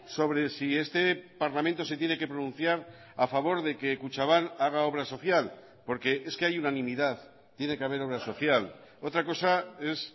sobre si este parlamento se tiene que pronunciar a favor de que kutxabank haga obra social porque es que hay unanimidad tiene que haber obra social otra cosa es